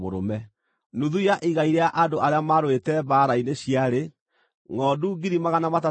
nacio ngʼombe ciarĩ 36,000 na kuuma harĩ icio Jehova akĩrutĩrwo ngʼombe 72;